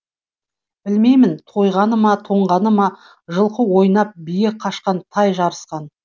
білмеймін тойғаны ма тоңғаны ма жылқы ойнап бие қашқан тай жарысқан